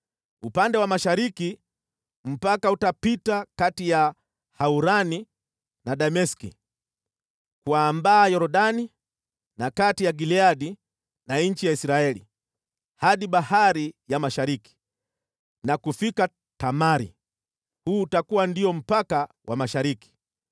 Upande wa mashariki mpaka utapita kati ya Haurani na Dameski, kuambaa Yordani na kati ya Gileadi na nchi ya Israeli, hadi bahari ya mashariki na kufika Tamari. Huu utakuwa ndio mpaka wa mashariki.